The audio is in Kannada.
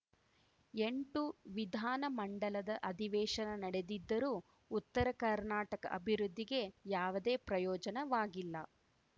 ಎಂಟು ವಿಧಾನ ಮಂಡಲದ ಅಧಿವೇಶನ ನಡೆದಿದ್ದರೂ ಉತ್ತರ ಕರ್ನಾಟಕ ಅಭಿವೃದ್ಧಿಗೆ ಯಾವುದೇ ಪ್ರಯೋಜನವಾಗಿಲ್ಲ